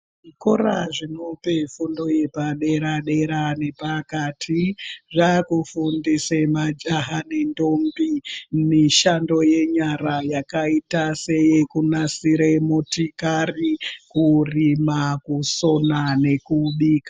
Zvikora zvinope fundo yepadera dera nezvepakati zvekufundisa majaha nendombi mishando yenyara yakaita seyekunasira motikari kurina kusona nekubika.